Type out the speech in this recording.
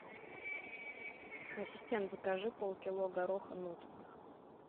ассистент закажи полкило гороха нут